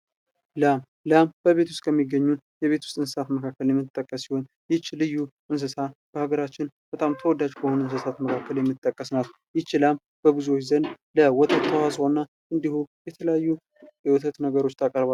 ላም ላም በቤት ውስጥ ከሚገኙ የቤት ውስጥ እንሳሳት የምትጠቀስ ሲሆን ይች ልዩ እንስሳ በሀገራችን በጣም ተወዳጅ ከሆኑ እንስሳት መካከል የምትጠቀስ ናት። ይች ላም በብዙዎች ዘንድ የወተት ተዋጽኦና እንድሁም የተለያዩ የወተት ነገሮች ታቀርባለች።